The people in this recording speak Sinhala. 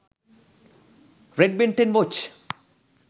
red ben 10 watch